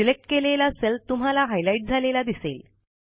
select केलेला cell तुम्हाला highlight झालेला दिसेल